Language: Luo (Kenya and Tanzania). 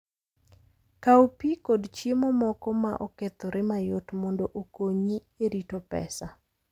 Kaw pi kod chiemo moko ma okethore mayot mondo okonyi e rito pesa.